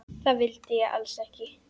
Það vildi ég alls ekki.